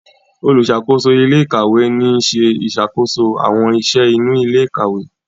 oluṣakoso ilé ìkàwé ní ṣe ìṣàkóso àwọn iṣẹ inú ilé ìkàwé.